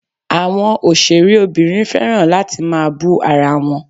Àwọn òṣèré obìnrin fẹ́ràn láti máa bú ara wọn.